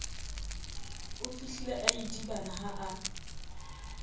ofihlile a idibana ha a